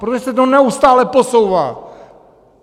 Protože se to neustále posouvá.